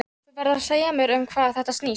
Þú verður að segja mér um hvað þetta snýst.